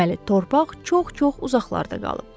deməli torpaq çox-çox uzaqlarda qalıb.